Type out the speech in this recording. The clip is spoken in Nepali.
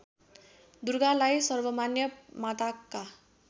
दुर्गालाई सर्वमान्य माताका